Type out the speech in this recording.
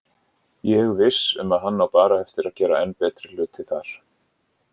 Ég viss um að hann á bara eftir að gera enn betri hluti þar.